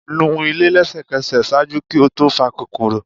nu ile lẹsẹkẹsẹ! ṣaaju ki o to fa kokoro.